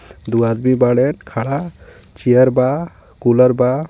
दू आदमी बाड़े खड़ा चेयर बा कूलर बा.